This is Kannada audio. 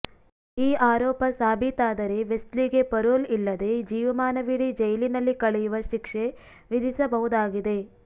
ಈ ಆರೋಪ ಸಾಬೀತಾದರೆ ವೆಸ್ಲಿಗೆ ಪರೋಲ್ ಇಲ್ಲದೆ ಜೀವಮಾನವಿಡೀ ಜೈಲಿನಲ್ಲಿ ಕಳೆಯುವ ಶಿಕ್ಷೆ ವಿಧಿಸಬಹುದಾಗಿದೆ